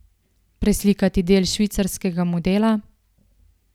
Preslikati del švicarskega modela?